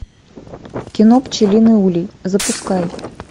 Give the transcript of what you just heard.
кино пчелиный улей запускай